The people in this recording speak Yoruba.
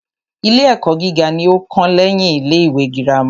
Ilé ẹ́kọ́ gíga ní o kàn lẹ́yin ilé ìwé gírámà.